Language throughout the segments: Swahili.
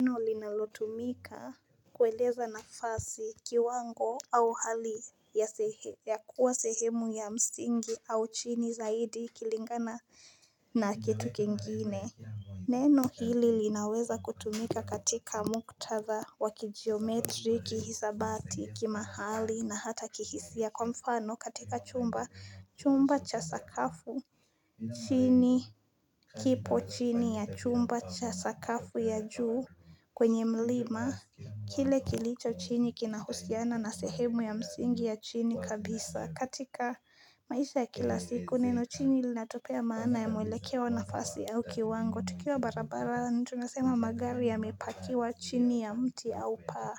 Neno linalotumika kueleza nafasi kiwango au hali ya kuwa sehemu ya msingi au chini zaidi kulingana na kitu kingine. Neno hili linaweza kutumika katika muktadha wa kijiometri kihisabati kimahali na hata kihisia kwa mfano katika chumba cha sakafu. Chini kipo chini ya chumba cha sakafu ya juu kwenye mlima Kile kilcho chini kina husiana na sehemu ya msingi ya chini kabisa katika maisha ya kila siku neno chini linatupea maana ya mwelekeo nafasi au kiwango. Tukiwa barabarani tunasema magari ya mepakiwa chini ya mti au paa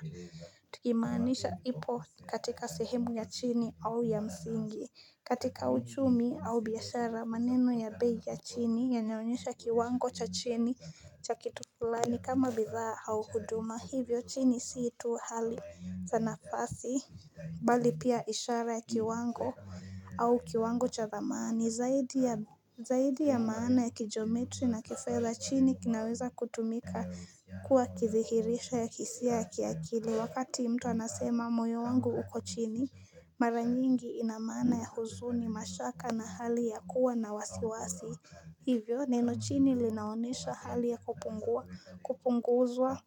Tukimaanisha ipo katika sehemu ya chini au ya msingi katika uchumi au biashara maneno ya bei ya chini yanaonyesha kiwango cha chini cha kitu fulani kama bidhaa au huduma hivyo chini si tu hali za nafasi Bali pia ishara ya kiwango au kiwango cha dhamani, Zaidi ya maana ya kijiometri na kifedha chini kinaweza kutumika kuwa kithibitisho ya kihisia ya ki akili Wakati mtu anasema moyo wangu uko chini Mara nyingi ina maana ya huzuni mashaka na hali ya kuwa na wasiwasi Hivyo neno chini linaonyesha hali ya kupunguzwa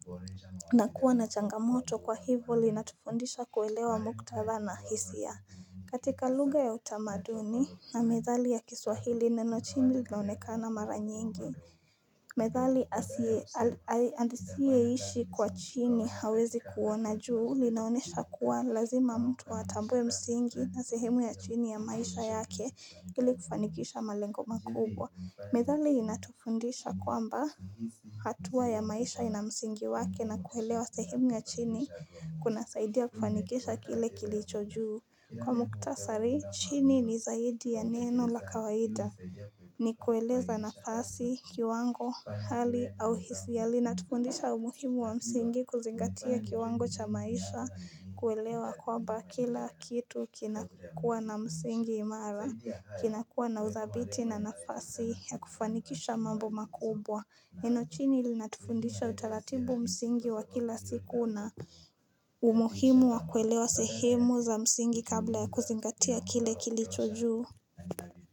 na kuwa na changamoto kwa hivyo linatufundisha kuelewa muktatha na hisia. Katika luga ya utamaduni na methali ya kiswahili neno chini linaonekana mara nyingi. Methali asiye ishi kwa chini hawezi kuona juu linaonyesha kuwa lazima mtu atambue msingi na sehemu ya chini ya maisha yake ili kufanikisha malengo makubwa. Methali inatufundisha kwamba hatua ya maisha ina msingi wake na kuelewa sehemu ya chini kunasaidia kufanikisha kile kilicho juu. Kwa muktasari, chini ni zaidi ya neno la kawaida. Ni kueleza nafasi, kiwango, hali au hisia Inatufundisha umuhimu wa msingi kuzingatia kiwango cha maisha kuelewa kwamba kila kitu kinakua na msingi imara, kinakua na uthabiti na nafasi ya kufanikisha mambo makubwa. Neno chini ilinatufundisha utaratibu msingi wa kila siku na umuhimu wa kuelewa sehemu za msingi kabla ya kuzingatia kile kilicho juu.